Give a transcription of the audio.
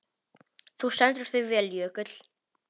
Þú stendur þig vel, Jökull!